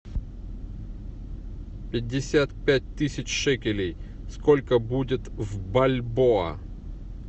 пятьдесят пять тысяч шекелей сколько будет в бальбоа